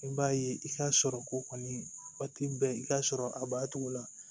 I b'a ye i ka sɔrɔ ko kɔni waati bɛ i ka sɔrɔ a b'a cogo la